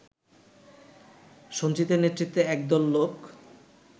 সঞ্জিতের নেতৃত্বে একদল লোক